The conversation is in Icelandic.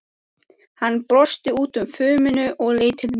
Hann brosti út úr fuminu og leit til mín.